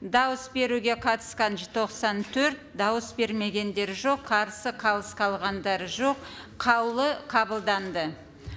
дауыс беруге қатысқан тоқсан төрт дауыс бермегендер жоқ қарсы қалыс қалғандар жоқ қаулы қабылданды